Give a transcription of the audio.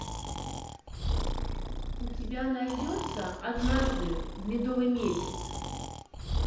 у тебя найдется однажды в медовый месяц